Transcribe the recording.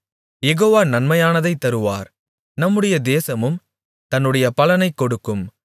யெகோவா நன்மையானதைத் தருவார் நம்முடைய தேசமும் தன்னுடைய பலனைக் கொடுக்கும்